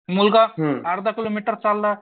मुलगा अर्धा किलोमीटर चालला